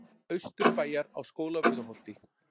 Austurbæjar á Skólavörðuholti.